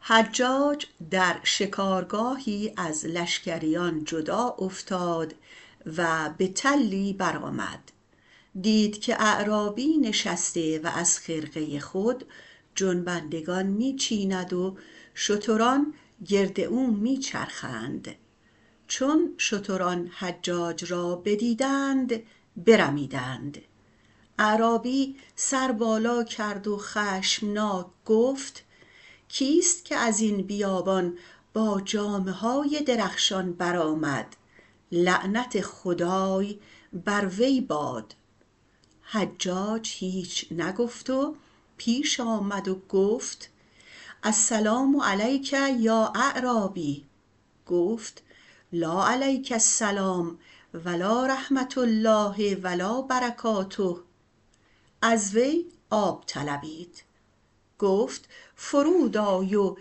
حجاج در شکارگاهی از لشکریان جدا افتاد و به تلی برآمد دید که اعرابی نشسته و از خرقه خود جنبندگان می چیند و شتران گرد او می چرند چون شتران حجاج را بدیدند برمیدند اعرابی سر بالا کرد خشمناک و گفت کیست که از این بیابان با جامه های درخشان برآمد که لعنت خدای بر وی باد حجاج هیچ نگفت و پیش آمد که السلام علیکم یا اعرابی در جواب گفت لا علیک السلام و لا رحمة الله و لا برکاته از وی آب طلبید گفت فرود آی و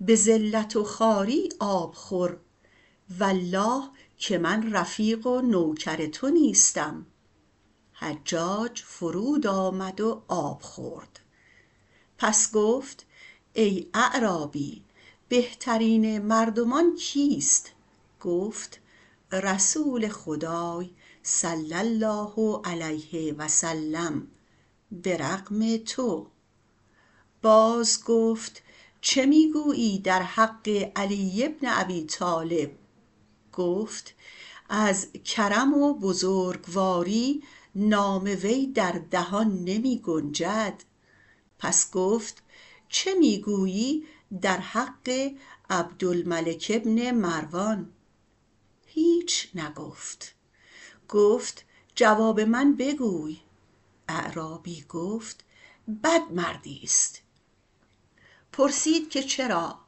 به ذلت و خواری آب بخور که والله من رفیق و نوکر کسی نیستم حجاج فرود آمد و آب خورد و پس گفت ای اعرابی بهترین مردمان کیست گفت رسول خدای - صلی الله علیه و سلم - بر رغم تو باز گفت چه می گویی در حق امیرالمؤمنین علی بن ابی طالب گفت از کرم و بزرگواری نام وی در دهان نمی گنجد پس گفت چه می گویی در حق عبدالملک بن مروان هیچ نگفت گفت جواب من بگوی ای اعرابی گفت بد مردیست پرسید که چرا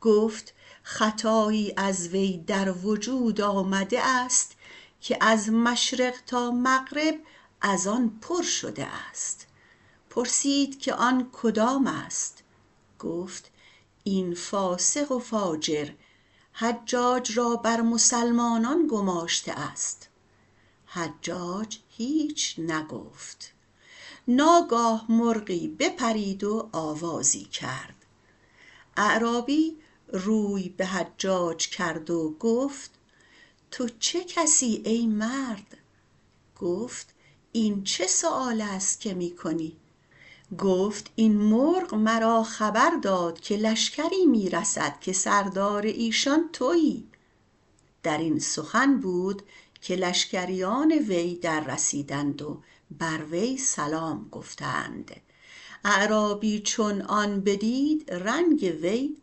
گفت خطایی از وی در وجود آمده است که از مشرق تا مغرب از آن پر بر آمده پرسید که آن کدام است گفت آن که این فاسق فاجر حجاج را بر مسلمانان گماشته است حجاج هیچ نگفت ناگاه مرغی بپرید و آوازی کرد اعرابی روی به حجاج کرد و گفت تو چه کسی ای مرد گفت این چه سؤال است که می کنی گفت این مرغ مرا خبر داد که لشکری می رسد که سردار ایشان تویی در این سخن بود که لشکریان وی رسیدند و بر وی سلام گفتند اعرابی چون آن را بدید رنگ او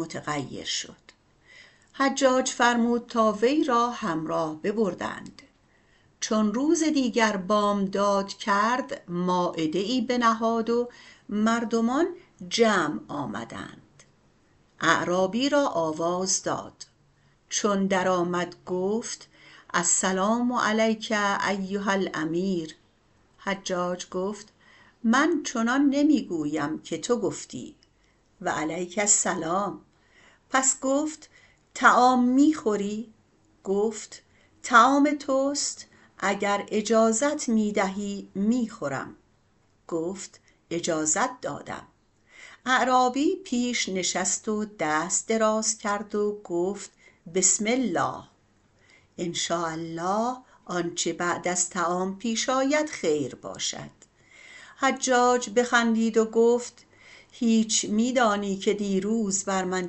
متغیر شد حجاج فرمود تا وی را همراه ببرند چون روز دیگر بامداد کرد و مایده ای بنهاد و مردمان جمع آمدند اعرابی را آواز دادند چون درآمد گفت السلام علیک ایهاالامیر و رحمة الله و برکاته حجاج گفت من چنان نمی گویم که تو گفتی و علیک السلام پس گفت طعام می خوری گفت طعام توست اگر اجازت دهیمی خورم گفت اجازت دادم اعرابی پیش نشست و دست دراز کرد و گفت بسم الله انشاء الله که آنچه بعد از طعام آید خیر باشد حجاج بخندید و گفت هیچ می دانید که دیروز از این بر من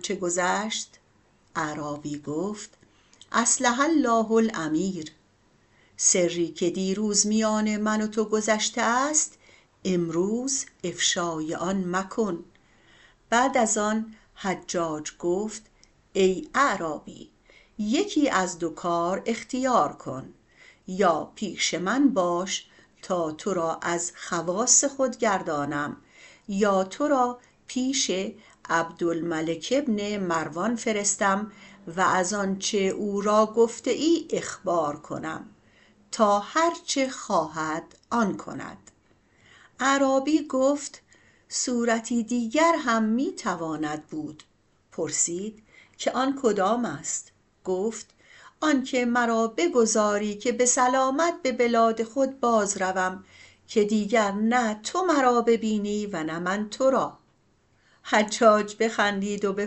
چه گذشت اعرابی گفت اصلح الله الامیر سری که دیروز میان من و تو گذشته است امروز در افشای آن مکوش بعد از آن حجاج گفت ای اعرابی یکی از دو کار اختیار کن یا پیش من باش که تو را از خواص خود گردانم یا تو را پیش عبدالملک مروان فرستم و به آنچه او را گفته ای اخبار کنم تا هرچه خواهد آن کند اعرابی گفت صورت دیگر هم می تواند بود پرسید آن کدام است گفت آن که مرا بگذاری که سلامت به بلاد خود باز روم و دیگر نه تو مرا بینی و نه من تو را حجاج بخندید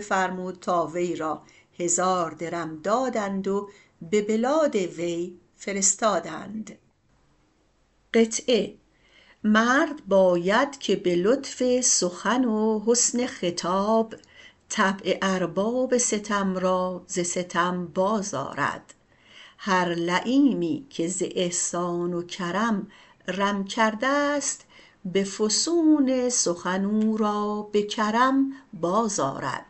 فرمود تا وی را ده هزار درم دادند و به بلاد وی فرستادند مرد باید که به لطف سخن و حسن خطاب طبع ارباب ستم را ز ستم باز آرد هر لییمی که ز احسان و کرم رو کرده ست به فسون سخن او را به کرم باز آرد